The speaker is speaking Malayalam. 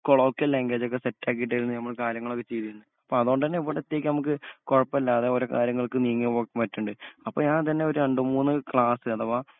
കൊളോക്കൽ ലാങ്ങ്വേജൊക്കെ സെറ്റാക്കിട്ടാരുന്നു ഞമ്മള് കാര്യങ്ങളൊക്കെ ചെയ്തിരുന്നേ അപ്പ അതോണ്ടന്നെ ഇവിടത്തേക്ക് കൊഴപ്പല്ലാതെ ഓരോ കാര്യങ്ങൾക്ക് നീങ്ങിയപോ മാറ്റൊണ്ട് അപ്പൊ ഞാതന്നെ ഒരാണ്ടുമൂന്ന് ക്ലാസ്‌ അഥവാ